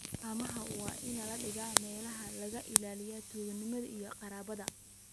Haamaha waa in la dhigaa meelaha laga ilaalinayo tuuganimada iyo kharribaadda.